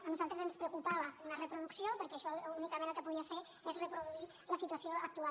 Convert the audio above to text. a nosaltres ens preocupava una reproducció perquè això únicament el que podia fer és reproduir la situació actual